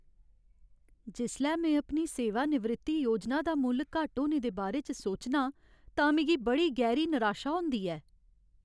जिसलै में अपनी सेवानिवृत्ति योजना दा मुल्ल घट्ट होने दे बारे च सोचनां तां मिगी बड़ी गैहरी निराशा होंदी ऐ।